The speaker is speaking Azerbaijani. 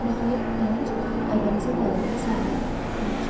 Nəhayət gənc Aybənizin dayandığı sahilə tərəf yaxınlaşdı.